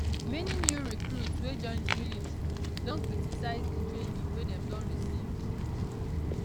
many new recruits wey join di military don criticise di training wey dem don receive